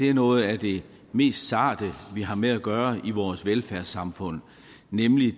er noget af det mest sarte vi har med at gøre i vores velfærdssamfund nemlig